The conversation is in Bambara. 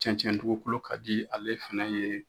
Cɛncɛn dugukolo ka di ale fɛnɛ ye.